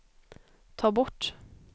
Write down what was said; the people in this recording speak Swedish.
ta bort